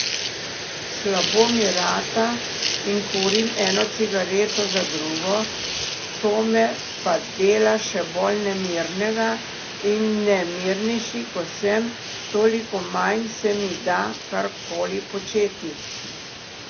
Slabo mi rata in kurim eno cigareto za drugo, to me pa dela še bolj nemirnega, in nemirnejši ko sem, toliko manj se mi da karkoli početi.